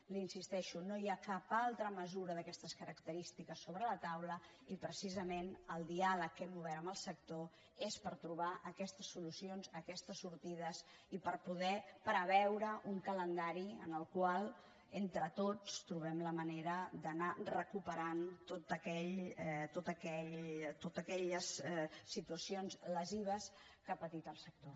hi insisteixo no hi ha cap altra mesura d’aquestes característiques sobre la taula i precisament el diàleg que hem obert amb el sector és per trobar aquestes solucions aquestes sortides i per poder preveure un calendari en el qual entre tots trobem la manera d’anar recuperant totes aquelles situacions lesives que ha patit el sector